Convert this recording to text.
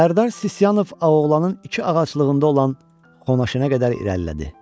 Sərdar Sisyanov Ağoğlanın iki ağaclığında olan Xonaşenə qədər irəlilədi.